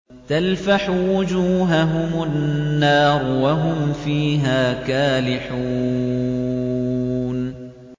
تَلْفَحُ وُجُوهَهُمُ النَّارُ وَهُمْ فِيهَا كَالِحُونَ